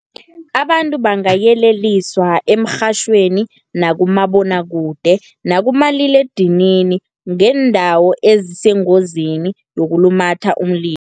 Abantu bangayeleliswa emrhatjhweni, nakumabonwakude, nakumaliledinini, ngeendawo ezisengozini yokulumatha umlilo.